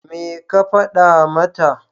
Me ka faɗa mata?